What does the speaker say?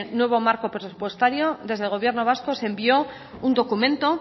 nuevo marco presupuestario desde el gobierno vasco se envió un documento